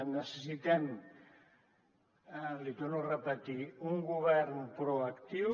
necessitem l’hi torno a repetir un govern proactiu